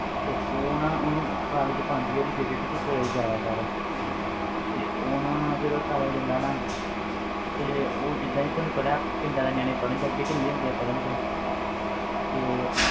ਤੇ ਉਹ ਨਾ ਉਹਨੂੰ college ਪਾਉਂਦੀ ਹੈ ਉਹਦੀ ਬੇਬੇ ਵੀ ਤੂੰ college ਜਾਇਆ ਕਰ ਤੇ ਉਹ ਨਾ ਜਦੋਂ ਉਹ college ਜਾਂਦਾ ਨਾ ਤੇ ਉਹ ਜਿੱਦਾਂ ਹੀ ਤੁਹਾਨੂੰ ਪਤਾ ਹੈ ਪਿੰਡ ਵਾਲੇ ਨਿਆਣੇ ਪੜ੍ਹਣ ਵਿੱਚ ਅੱਗੇ ਢਿੱਲੇ ਹੁੰਦੇ ਆ ਪੜ੍ਹਣ ਵਿੱਚ ਤੇ